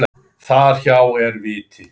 Þar hjá er viti.